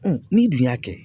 Ɔn n'i dun y'a kɛ